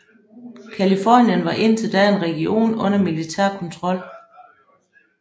Californien var indtil da en region under militær kontrol